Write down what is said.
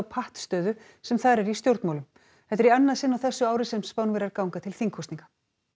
pattstöðu sem þar er í stjórnmálum þetta er í annað sinn á þessu ári sem Spánverjar ganga til þingkosninga